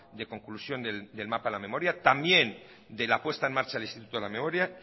de conclusión del mapa de la memoria también de la puesta en marcha del instituto de la memoria